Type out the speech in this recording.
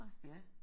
Ja